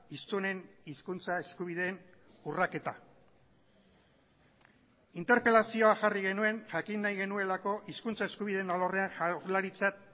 hiztunen hizkuntza eskubideen urraketa interpelazioa jarri genuen jakin nahi genuelako hizkuntza eskubideen alorrean jaurlaritzak